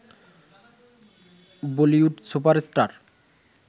Bollywood super star